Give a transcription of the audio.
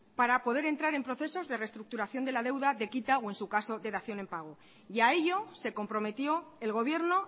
para poder entrar en procesos de reestructuración de la deuda de quita o en su caso de dación en pago y a ello se comprometió el gobierno